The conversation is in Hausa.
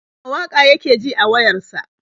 A'a, waƙa yake ji a wayar sa.